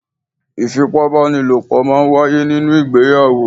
Ìfipá bá ni lò pọ̀ máa ń wáyé nínú ìgbéyàwó.